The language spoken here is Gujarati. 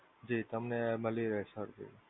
જી તમને મળી રહે સરજી.